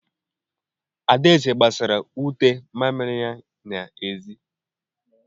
Adaeze gbasara ute mamịrị ya n'ezi.